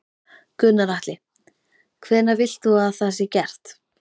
Gunnar Atli: Hvenær vilt þú að það sé gert?